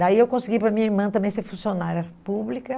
Daí eu consegui para minha irmã também ser funcionária pública.